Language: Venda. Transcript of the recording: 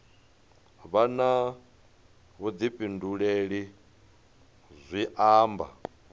vha na vhuḓifhinduleli zwi amba